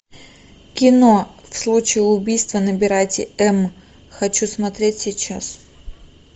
кино в случае убийства набирайте эм хочу смотреть сейчас